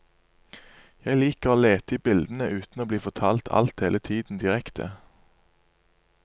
Jeg liker å lete i bildene uten å bli fortalt alt hele tiden direkte.